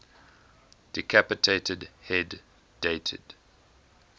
decapitated head dated